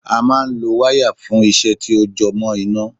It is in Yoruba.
A máa ń lo wáyà fún iṣẹ́ tí ó jẹ mọ́ iná